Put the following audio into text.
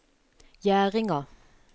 Gjerdinga